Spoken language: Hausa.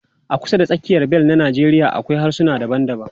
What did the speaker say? A kusa da tsakiyar bel na Najeriya akwai harsuna daban-daban.